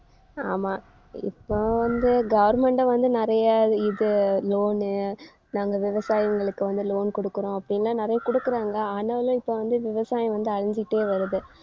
ஆமா இப்பவும் வந்து government அ வந்து நிறைய இது loan உ நாங்க விவசாயிங்களுக்கு வந்து loan கொடுக்குறோம் அப்படின்னெல்லாம் நிறைய கொடுக்குறாங்க. ஆனாலும் இப்ப வந்து விவசாயம் வந்து அழிஞ்சிட்டே வருது.